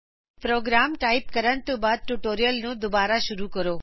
programme type ਕਰਨ ਤੋਂ ਬਾਅਦ ਟਯੂਟੋਰੀਅਲ ਨੂੰ ਦੋਬਾਰਾ ਸ਼ੁਰੂ ਕਰੋ